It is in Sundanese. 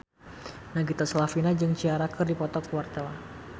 Nagita Slavina jeung Ciara keur dipoto ku wartawan